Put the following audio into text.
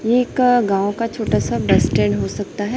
ये एक गांव का छोटा सा बस स्टैंड हो सकता है।